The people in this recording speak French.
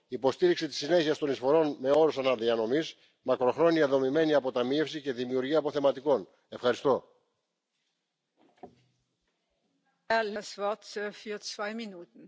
Mais le PEPP est tout simplement un plus pour ceux qui ont déjà, mais ce n'est rien du tout pour ceux qui n'ont pas aujourd'hui, et donc notre préoccupation doit aller vers ceux qui aujourd'hui ne sont pas couverts par un système de pension équitable qui leur permet de vivre dans la dignité.